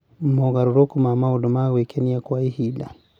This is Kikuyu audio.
Mogarũrũku ma maũndũ ma gwĩkenia kwa ihinda